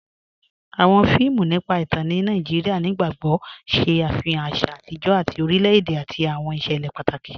Awọn fíìmù nípa ìtàn ní Nàìjíríà nígbàgbọ̀gbọ̀ ṣé afihàn àṣà àtijọ tí orílẹ̀-èdè àti awọn iṣẹlẹ̀ pátákì.